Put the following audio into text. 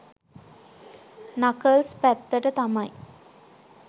Knuckles පැත්තට තමයි.